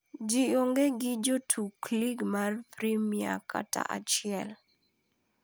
Gi onge gi Jotug lig mar Premia kata achiel,